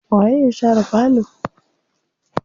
Waye ya share falo?